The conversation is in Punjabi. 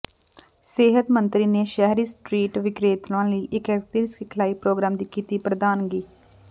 ਸਿਹਤ ਮੰਤਰੀ ਨੇ ਸ਼ਹਿਰੀ ਸਟ੍ਰੀਟ ਵਿਕਰੇਤਾਵਾਂ ਲਈ ਏਕੀਕ੍ਰਿਤ ਸਿਖਲਾਈ ਪ੍ਰੋਗਰਾਮ ਦੀ ਕੀਤੀ ਪ੍ਰਧਾਨਗੀ